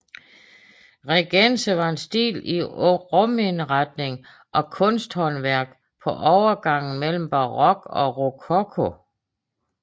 Regence var en stil i rumindretning og kunsthåndværk på overgangen mellem barok og rokoko